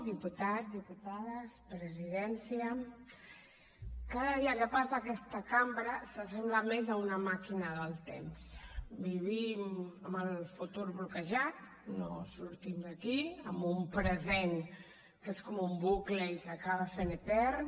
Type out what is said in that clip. diputats diputades presidència cada dia que passa aquesta cambra se sembla més a una màquina del temps vivim amb el futur bloquejat no sortim d’aquí amb un present que és com un bucle i s’acaba fent etern